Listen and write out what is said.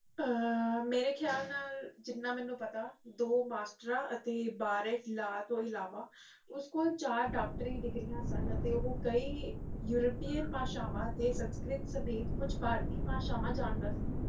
ਮੇਰੇ ਖਿਆਲ ਨਾਲ ਜਿੰਨਾ ਮੈਨੂੰ ਪਤਾ ਦੋ ਮਾਸਟਰਾ ਤੋ ਇਲਾਵਾ ਉਸਕੋਲ ਚਾਰ ਡਾਕਟਰੀ ਡਿਗਰੀਆਂ ਸਨ ਅਤੇ ਓਹ ਕਈ ਯੂਰੋਪੀ ਭਾਸ਼ਾਵਾਂ ਅਤੇ ਸੰਕਰਿਤ ਸਮੇਤ ਕੁਝ ਭਾਰਤੀ ਭਾਸ਼ਾਵਾਂ ਜਣਦਾ ਸੀ